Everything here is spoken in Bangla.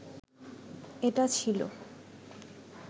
এটা ছিলো